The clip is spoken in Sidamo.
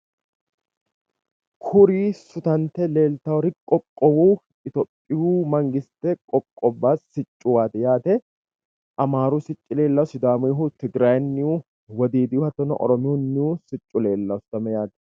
kuri sutante leeltannori qoqqowu itophiyu mangiste qoqqobbate siccuwaati yaate. amaaru sicci leellawo sidaammunnihu, tigrayennihu wodiidihu hattono oromiyuunnihu siccu leellanno.